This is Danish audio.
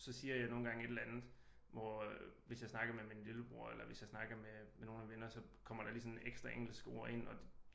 Så siger jeg nogle gange et eller andet hvor hvis jeg snakker med min lillebror eller hvis jeg snakker med med nogle af mine venner så kommer der lige sådan et ekstra engelsk ord ind og det